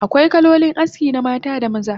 Akwai kalolin aski na mata da maza